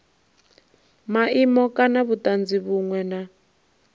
maimo kana vhutanzi vhunwe na